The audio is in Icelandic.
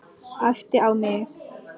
Æpti á mig.